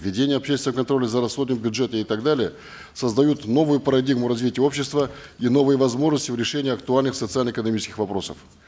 введение общественного контроля за расходами бюджета и так далее создают новую парадигму развития общества и новые возможности в решении актуальных социально экономических вопросов